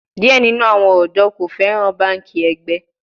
Diẹ ninu awọn ọdọ ko fẹran banki ẹgbẹ